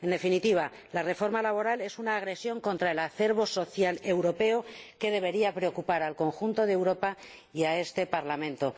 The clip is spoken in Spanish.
En definitiva, la reforma laboral es una agresión contra el acervo social europeo que debería preocupar al conjunto de Europa y a este Parlamento.